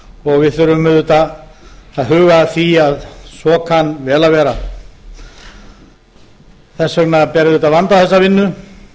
og við þurfum auðvitað að huga að því að svo kann vel að vera þess vegna ber auðvitað að vanda þessa vinnu